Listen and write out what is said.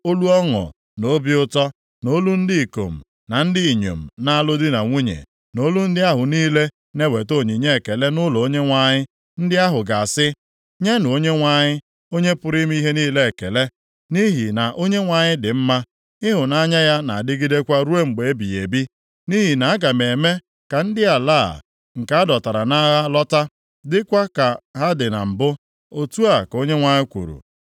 olu ọṅụ na obi ụtọ, na olu ndị ikom na ndị inyom na-alụ di na nwunye, na olu ndị ahụ niile na-eweta onyinye ekele nʼụlọ Onyenwe anyị, ndị ahụ ga-asị, “‘ “Nyenụ Onyenwe anyị, Onye pụrụ ime ihe niile ekele nʼihi na Onyenwe anyị dị mma. Ịhụnanya ya na-adịgidekwa ruo mgbe ebighị ebi.” Nʼihi na aga m eme ka ndị ala a, nke a dọtara nʼagha lọta, dịkwa ka ha dị na mbụ,’ otu a ka Onyenwe anyị kwuru.